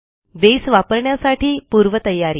बसे वापरण्यासाठी पूर्वतयारी